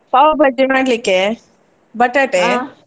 pav bhaji ಮಾಡ್ಲಿಕ್ಕೆ, .